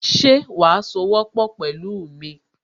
Ṣe wàá sowọ́pọ̀ pẹ̀lú mi